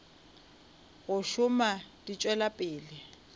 go šoma di tšwela pele